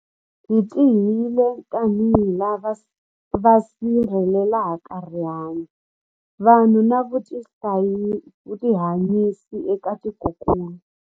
Hi tirhile tanihi lava va sirhelelaka rihanyu, vanhu na vutihanyisi eka tikokulu.